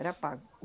Era pago.